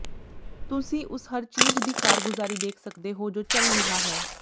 ਤੁਸੀਂ ਉਸ ਹਰ ਚੀਜ ਦੀ ਕਾਰਗੁਜ਼ਾਰੀ ਦੇਖ ਸਕਦੇ ਹੋ ਜੋ ਚੱਲ ਰਿਹਾ ਹੈ